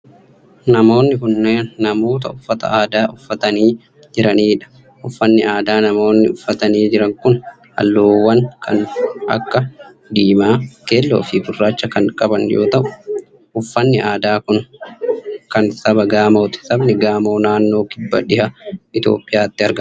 Namoonni kunneen namoota uffata aadaa uffatanii jiranii dha. Uffanni aadaa namoonni uffatanii jiran kun haalluuwwan kan akka:diimaa, keelloo fi gurraacha kan qaban yoo ta'u, uffanni aadaa kun kan saba Gaamooti. Sabni Gaamoo, naannoo kibba dhiha Itoophiyaatti argama.